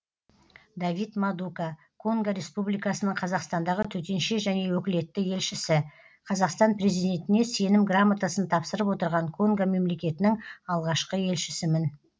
давид мадука конго республикасының қазақстандағы төтенше және өкілетті елшісі қазақстан президентіне сенім грамотасын тапсырып отырған конго мемлекетінің алғашқы елшісімін